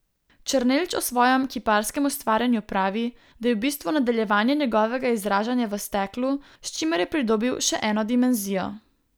Černelč o svojem kiparskem ustvarjanju pravi, da je v bistvu nadaljevanje njegovega izražanja v steklu, s čimer je pridobil še eno dimenzijo.